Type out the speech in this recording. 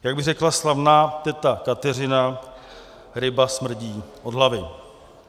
Jak by řekla slavná teta Kateřina, ryba smrdí od hlavy.